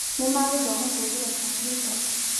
Nĩ magũthoma kũhũthĩra kombiuta